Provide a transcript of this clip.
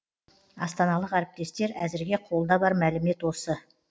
астаналық әріптестер әзірге қолда бар мәлімет осы